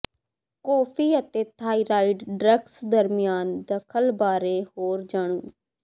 coffee ਅਤੇ thyroid drugs ਦਰਮਿਆਨ ਦਖਲ ਬਾਰੇ ਹੋਰ ਜਾਣੋ